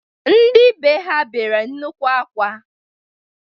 Ndị bee ha bere nnukwu akwa.